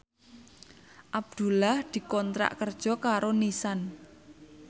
Abdullah dikontrak kerja karo Nissan